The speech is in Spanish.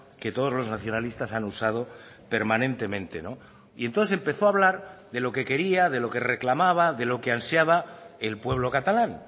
que todos los nacionalistas han usado permanentemente y entonces empezó a hablar de lo que quería de lo que reclamaba de lo que ansiaba el pueblo catalán